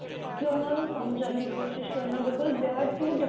ਕੀ ਉਹਨਾਂ ਨੂੰ ਸਮਝਣ ਦੀ ਕੋਸ਼ਿਸ਼ ਕਰਨਾ diplo